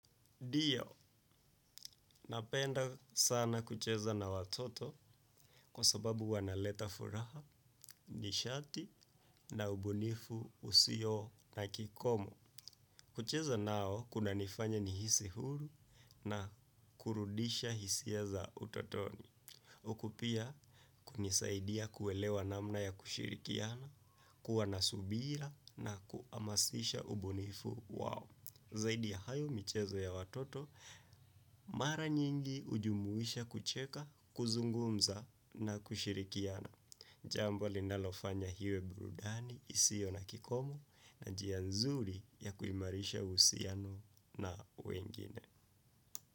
Ndio, napenda sana kucheza na watoto kwa sababu wanaleta furaha, nishati na ubunifu, usio na kikomo. Kucheza nao kunanifanya nihisi huru na kurudisha hisia za utotoni. Huku pia kunisaidia kuelewa namna ya kushirikiana, kuwa na subira na kuamasisha ubunifu wao. Zaidi ya hayo michezo ya watoto, mara nyingi ujumuisha kucheka, kuzungumza na kushirikiana. Jambo linalofanya iwe burudani, isiyo na kikomo na njia nzuri ya kuimarisha uhusiano na wengine.